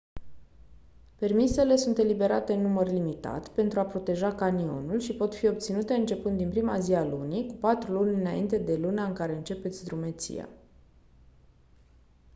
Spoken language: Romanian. permisele sunt eliberate în număr limitat pentru a proteja canionul și pot fi obținute începând din prima zi a lunii cu patru luni înainte de luna în care începeți drumeția